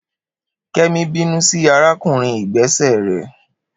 Kemi binu si arakunrin igbese rẹ